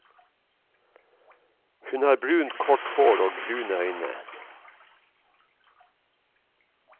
Hun har brunt kort hår og brune øyne.